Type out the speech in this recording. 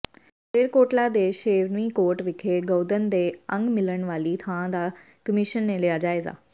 ਮਲੇਰਕੋਟਲਾ ਦੇ ਸ਼ੇਰਵਨੀਕੋਟ ਵਿਖੇ ਗਊਧਨ ਦੇ ਅੰਗ ਮਿਲਣ ਵਾਲੀ ਥਾਂ ਦਾ ਕਮਿਸ਼ਨ ਨੇ ਲਿਆ ਜਾਇਜ਼ਾ